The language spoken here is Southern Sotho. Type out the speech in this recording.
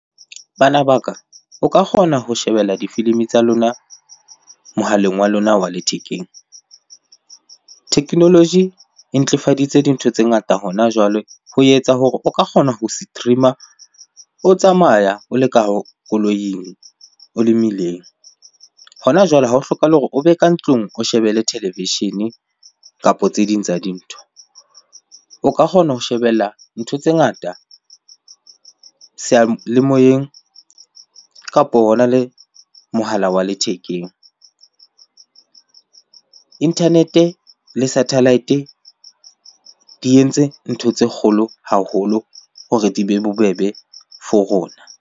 Bana ba ka, o ka kgona ho shebella difilimi tsa lona mohaleng wa lona wa lethekeng. Technology e ntlefafaditse dintho tse ngata hona jwale ho etsa hore o ka kgona ho stream-a o tsamaya, o le ka koloing, o le mmileng. Hona jwale ha ho hlokahale hore o be ka ntlung o shebelle televishene kapo tse ding tsa dintho. O ka kgona ho shebella ntho tse ngata seyalemoyeng kapo hona le mohala wa lethekeng. Internet-e le satellite di entse ntho tse kgolo haholo hore di be bobebe for rona.